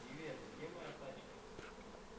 привет где моя тачка